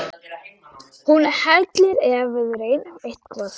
Hún hellir ef við reynum eitthvað.